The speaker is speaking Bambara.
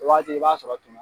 O Wagati i b'a sɔrɔ tun